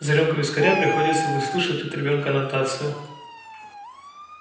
за рюмку вискаря приходится выслушивать от ребёнка нотацию